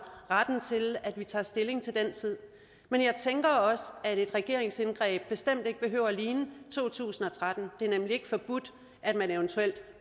retten til at vi tager stilling til den tid men jeg tænker også at et regeringsindgreb bestemt ikke behøver at ligne to tusind og tretten det er nemlig ikke forbudt at man eventuelt